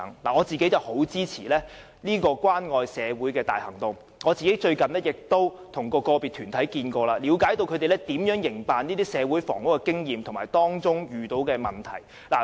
我十分支持這關愛社會的大行動，而最近亦曾與個別團體會面，了解他們營辦這類社會房屋的經驗及所遇到的問題。